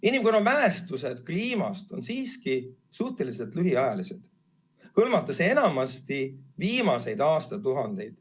Inimkonna mälestused kliimast on siiski suhteliselt lühiajalised, hõlmates viimaseid aastatuhandeid.